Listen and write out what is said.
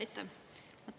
Aitäh!